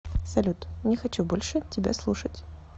салют не хочу больше тебя слушать